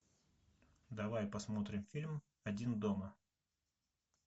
давай посмотрим фильм один дома